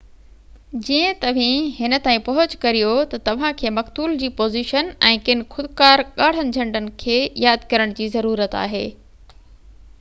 جيئن توهن هن تائين پهچ ڪريو ته توهان کي مقتول جي پوزيشن ۽ ڪن خوڪار ڳاڙهن جهنڊن کي ياد ڪرڻ جي ضرورت آهي